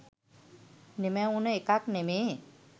නිමැවුන එකක් නෙමේ.